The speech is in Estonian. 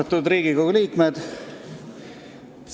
Austatud Riigikogu liikmed!